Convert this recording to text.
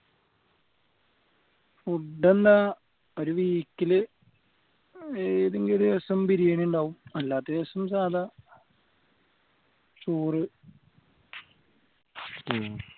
food എന്താ ഒരു week ൽ ഏതെങ്കിലും ഒരു ദിവസം ബിരിയാണി ഉണ്ടാവും അല്ലാത്ത ദിവസം സാദാ ചോറ്